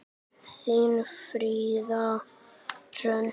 Þín, Fríða Hrönn.